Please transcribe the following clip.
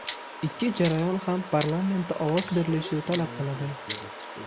Ikki jarayon ham parlamentda ovoz berilishini talab qiladi.